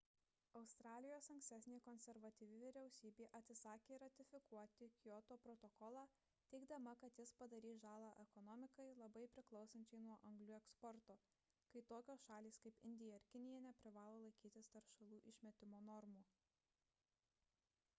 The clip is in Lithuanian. australijos ankstesnė konservatyvi vyriausybė atsisakė ratifikuoti kioto protokolą teigdama kad jis padarys žalą ekonomikai labai priklausančiai nuo anglių eksporto kai tokios šalys kaip indija ir kinija neprivalo laikytis teršalų išmetimo normų